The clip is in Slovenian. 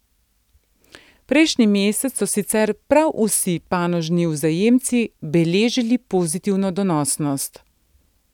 Prejšnji mesec so sicer prav vsi panožni vzajemci beležili pozitivno donosnost.